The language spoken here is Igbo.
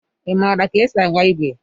Ị maara ka esi agba igwe?